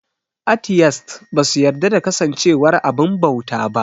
Atiyest ba su yarda da kasancewar abin bauta ba